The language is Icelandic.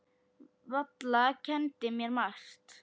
Valla kenndi mér margt.